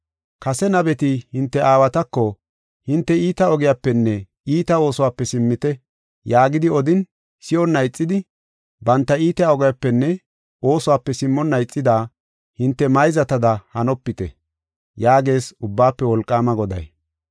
Kase nabeti, hinte aawatako, ‘Hinte iita ogiyapenne iita oosuwape simmite’ yaagidi odin, si7onna ixidi, banta iita ogiyapenne oosuwape simmonna ixida, hinte mayzatada hanopite” yaagees Ubbaafe Wolqaama Goday.